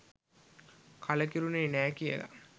කලකිරුණේ නෑ කියලා.